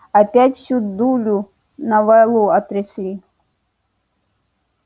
опять всю дулю на валу отрясли